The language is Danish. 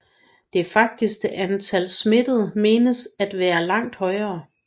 Det faktiske antal smittede menes at være langt højere